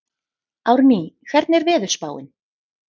Árný, hvernig er veðurspáin?